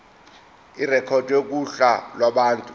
irekhodwe kuhla lwabantu